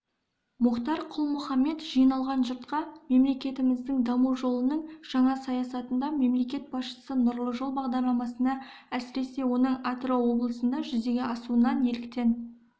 мұхтар құл-мұхаммед жиналған жұртқа мемлекетіміздің даму жолының жаңа сатысында мемлекет басшысы нұрлы жол бағдарламасына әсіресе оның атырау облысында жүзеге асуына неліктен